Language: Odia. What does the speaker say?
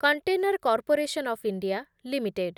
container corporation of India limited